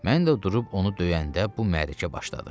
Mən də durub onu döyəndə bu mərrəkə başladı.